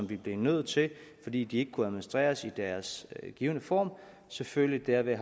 vi blev nødt til fordi de ikke kunne administreres i deres givne form selvfølgelig derved